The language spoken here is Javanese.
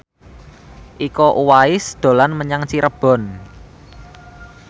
Iko Uwais dolan menyang Cirebon